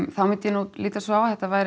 þá myndir ég líta svo á að þetta væri